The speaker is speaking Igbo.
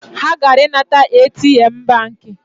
Ha gara inata ATM banki